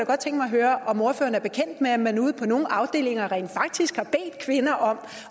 høre om ordføreren er bekendt med at man ude på nogle afdelinger rent faktisk har bedt kvinder om